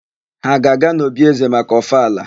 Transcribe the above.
Ha a ga-aga n'òbí ézē maka ọfala?